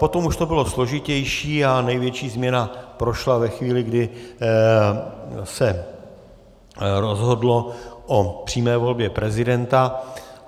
Potom už to bylo složitější a největší změna prošla ve chvíli, kdy se rozhodlo o přímé volbě prezidenta.